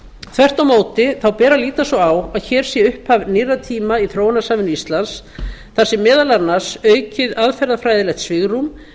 þvert á móti ber að líta svo á að hér sé upphaf nýrra tíma í þróunarsamvinnu íslands þar sem meðal annars aukið aðferðafræðilegt svigrúm